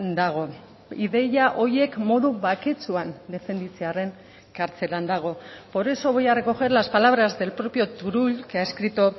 dago ideia horiek modu baketsuan defenditzearren kartzelan dago por eso voy a recoger las palabras del propio turull que ha escrito